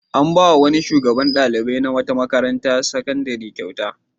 An ba wa wani shugaban ɗalibai na wata makarantar sakandare kyauta.